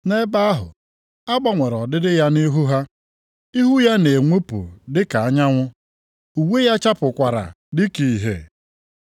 Nʼebe ahụ a gbanwere ọdịdị ya nʼihu ha, ihu ya na-enwupụ dị ka anyanwụ, uwe ya chapụkwara dị ka ìhè.